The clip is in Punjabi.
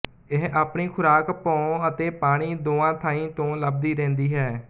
ਇਹ ਆਪਣੀ ਖ਼ੁਰਾਕ ਭੌਂ ਅਤੇ ਪਾਣੀ ਦੋਆਂ ਥਾਂਈਂ ਤੋਂ ਲੱਭਦੀ ਰਹਿੰਦੀ ਹੈ